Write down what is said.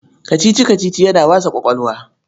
Kacici-kacici yana wasa ƙwaƙwalwa.